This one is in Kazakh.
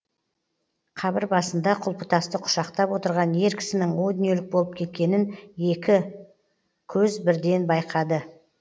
қабір басында құлпытасты құшақтап отырған ер кісінің о дүниелік болып кеткенін екі көз бірден байқады